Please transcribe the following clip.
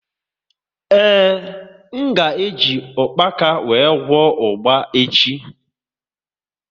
Ee, m ga e ji ukpaka wee gwọọ ugba echi